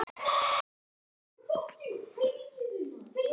Þýskir flugvellir opnast aftur